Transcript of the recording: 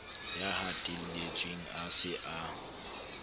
ya hatelletsweng a se a